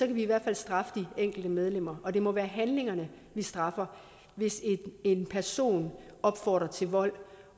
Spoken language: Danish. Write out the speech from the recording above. vi i hvert fald straffe de enkelte medlemmer og det må være handlingerne vi straffer hvis en person opfordrer til vold